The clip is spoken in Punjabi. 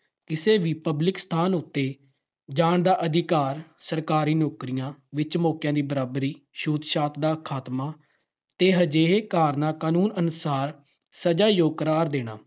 ਕਿਸੇ ਵੀ public ਸਥਾਨ ਉੱਤੇ ਜਾਣ ਦਾ ਅਧਿਕਾਰ। ਸਰਕਾਰੀ ਨੌਕਰੀਆਂ ਵਿੱਚ ਮੌਕਿਆਂ ਦੀ ਬਰਾਬਰੀ, ਛੂਤਛਾਤ ਦਾ ਖਾਤਮਾ ਤੇ ਅਜਿਹੇ ਕਾਰਨਾਂ ਕਾਨੂੰਨ ਅਨੁਸਾਰ ਸਜਾ ਯੋਗ ਕਰਾਰ ਦੇਣਾ।